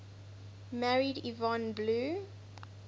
married yvonne blue